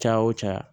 Caya wo caya